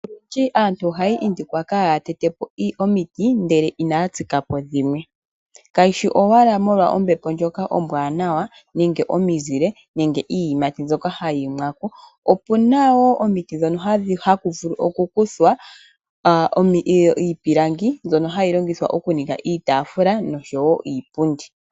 Aantu ohaya indikwa kaaya tetepo omiti ngele inaya kunapo dhimwe , kayi shi owala omizile, iiyimati nombepo ashike ohamu vulu okukuthwa iipilandi mbyoka hayi ningithwa iipundi.